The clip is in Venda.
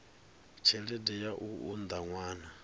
tshelede ya u unḓa ṅwana